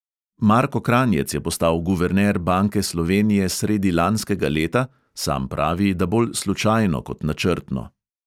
Marko kranjec je postal guverner banke slovenije sredi lanskega leta, sam pravi, da bolj slučajno kot načrtno.